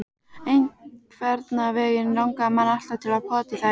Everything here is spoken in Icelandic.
Einhvernveginn langaði mann alltaf til að pota í þær.